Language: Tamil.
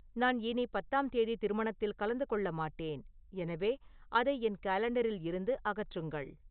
நான் இனி பத்தாம் தேதி திருமணத்தில் கலந்து கொள்ள மாட்டேன் எனவே அதை என் காலெண்டரில் இருந்து அகற்றுங்கள்